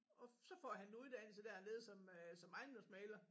Og så får han en uddannelse dernede som øh som ejendomsmægler